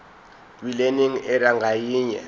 kwilearning area ngayinye